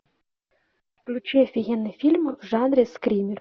включи офигенный фильм в жанре скример